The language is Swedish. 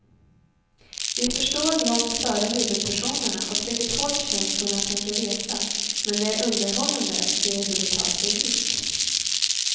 Vi förstår långt före huvudpersonerna åt vilket håll känslorna tänker resa, men det är underhållande att se hur de tar sig dit.